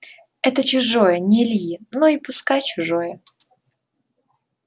это чужое не ильи но и пускай чужое